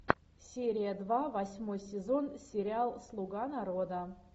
серия два восьмой сезон сериал слуга народа